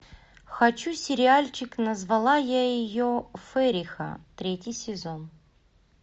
хочу сериальчик назвала я ее фериха третий сезон